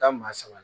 Taa maa saba